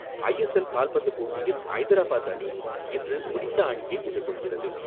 ஐ S L கால்பந்து போட்டியில் ஐதராபாத் அணி இன்று ஒடிசா அணியை எதிர்கொள்கிறது.